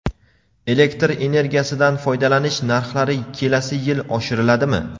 Elektr energiyasidan foydalanish narxlari kelasi yil oshiriladimi?.